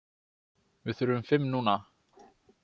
Við þurfum fimm núna.